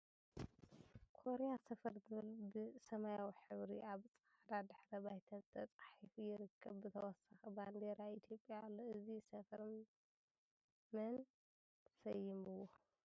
ኮርያ ሰፈር ዝብል ብ ሰማያዊ ሕብሪ ኣብ ፅዕዳ ድሕረ ባይታ ተፃሒፉ ይርከብ ብተወሳኪ ባንዴራ ኢትዮጵያ ኣሎ ። እዚ ሰፈር ምን ሰይምዎ ?